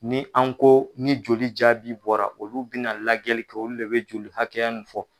Ni an ko ni joli jaabi bɔra olu bɛna lajɛli kɛ olu de bɛ joli hakɛya nin fɔ.